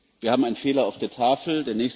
Wir haben einen Fehler auf der Tafel.